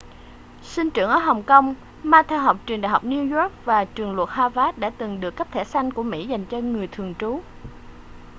sinh trưởng ở hồng kông ma theo học trường đại học new york và trường luật harvard và từng được cấp thẻ xanh của mỹ dành cho người thường trú